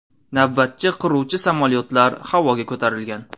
Navbatchi qiruvchi samolyotlar havoga ko‘tarilgan.